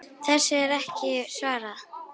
Þessu er ekki svarað.